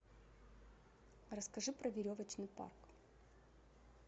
расскажи про веревочный парк